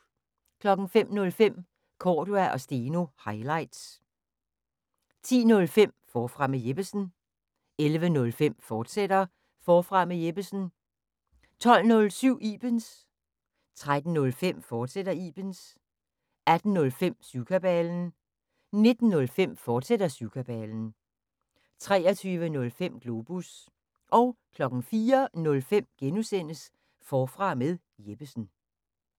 05:05: Cordua & Steno – highlights 10:05: Forfra med Jeppesen 11:05: Forfra med Jeppesen, fortsat 12:07: Ibens 13:05: Ibens, fortsat 18:05: Syvkabalen 19:05: Syvkabalen, fortsat 23:05: Globus 04:05: Forfra med Jeppesen (G)